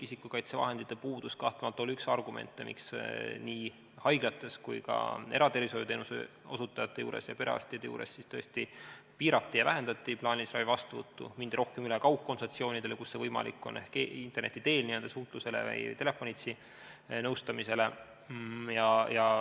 Isikukaitsevahendite puudus oli kahtlemata üks argumente, miks nii haiglates kui ka eratervishoiuteenuse osutajate juures, samuti perearstide juures piirati ja vähendati plaanilisi vastuvõtte ning mindi rohkem üle kaugkonsultatsioonidele, kus see võimalik oli, ehk interneti teel suhtlusele või telefonitsi nõustamisele.